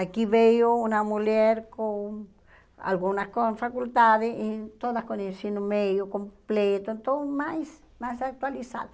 Aqui veio uma mulher com algumas com faculdades, e todas com ensino médio completo, então mais mais atualizada.